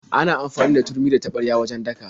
Ana amfani da turmi da taɓarya wajen daka.